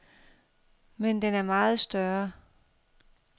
Men den er meget større.